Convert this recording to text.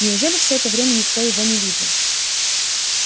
неужели все это время никто его не видел